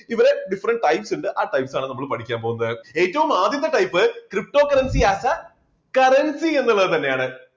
ഇവിടെ different types ഉണ്ട് ആ types ആണ് നമ്മൾ പഠിക്കാൻ പോകുന്നത്. ഏറ്റവും ആദ്യത്തെ types cryptocurrency ആകുക currency എന്നുള്ളത് തന്നെയാണ്.